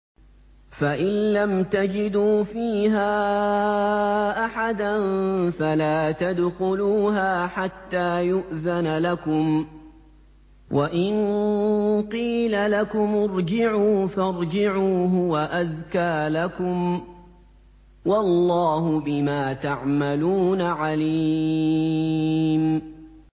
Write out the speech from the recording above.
فَإِن لَّمْ تَجِدُوا فِيهَا أَحَدًا فَلَا تَدْخُلُوهَا حَتَّىٰ يُؤْذَنَ لَكُمْ ۖ وَإِن قِيلَ لَكُمُ ارْجِعُوا فَارْجِعُوا ۖ هُوَ أَزْكَىٰ لَكُمْ ۚ وَاللَّهُ بِمَا تَعْمَلُونَ عَلِيمٌ